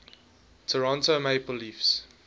toronto maple leafs